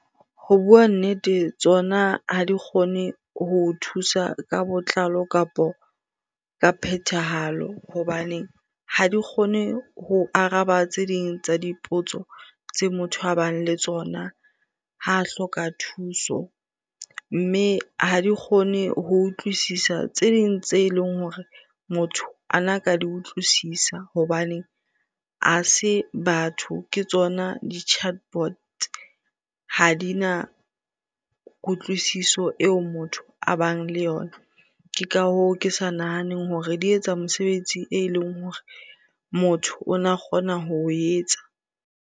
Ho bua nnete, tsona ha di kgone ho thusa ka botlalo kapa ka phethahalo hobaneng ha di kgone ho araba tse ding tsa dipotso tse motho a bang le tsona ha hloka thuso. Mme ha di kgone ho utlwisisa tse ding tse leng hore motho ana ka di utlwisisa hobane ha se batho ke tsona di-chatbot, ha dina kutlwisiso eo motho a bang le yona. Ke ka hoo, ke sa nahaneng hore di etsa mosebetsi e leng hore motho o na kgona ho o etsa.